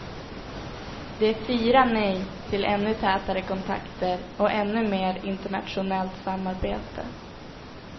Det är fyra nej till ännu tätare kontakter och ännu mer internationellt samarbete.